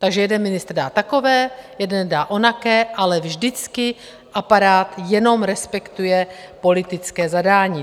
Takže jeden ministr dá takové, jeden dá onaké, ale vždycky aparát jenom respektuje politické zadání.